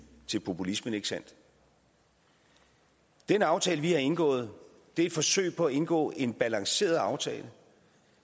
til populismen ikke sandt den aftale vi har indgået er et forsøg på at indgå en balanceret aftale